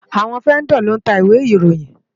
Awòn Vèndò ló ntá Iwé Iróyin